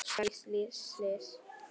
Ég var víst slys.